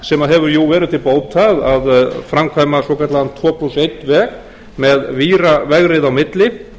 sem þar hefur verið unnið að sem hefur verið til bóta að framkvæma svokallaðan tvo plús einn veg með víravegrið á milli